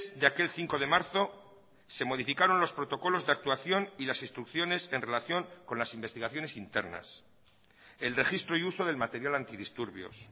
de aquel cinco de marzo se modificaron los protocolos de actuación y las instrucciones en relación con las investigaciones internas el registro y uso del material antidisturbios